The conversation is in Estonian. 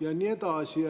ja nii edasi.